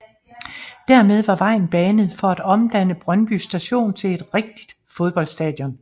Dermed var vejen banet for at omdanne Brøndby Stadion til et rigtigt fodboldstadion